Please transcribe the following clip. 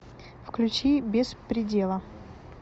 включи без предела